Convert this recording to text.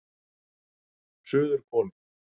Suðurhvoli